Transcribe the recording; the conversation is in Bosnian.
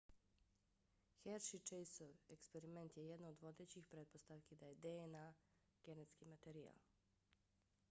hershey-chaseov eksperiment je jedna od vodećih pretpostavki da je dna genetski materijal